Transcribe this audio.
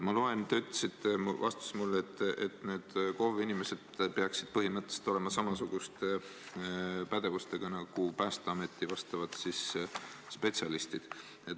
Te ütlesite mulle vastates, et need KOV-i inimesed peaksid olema põhimõtteliselt samasuguse pädevusega nagu Päästeameti vastavad spetsialistid.